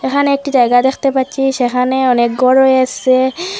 এখানে একটি জায়গা দেখতে পাচ্ছি সেখানে অনেক গর রয়েসে।